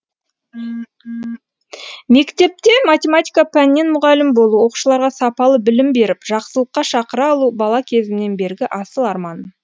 мектепте математика пәнінен мұғалім болу оқушыларға сапалы білім беріп жақсылыққа шақыра алу бала кезімнен бергі асыл арманым